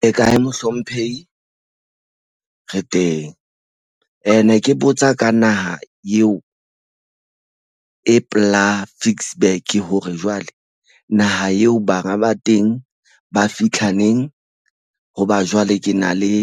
Le kar mohlomphehi re teng ne ke botsa ka naha eo e pela Ficksburg hore jwale naha eo banga ba teng ba fitlha neng. Hoba jwale ke na le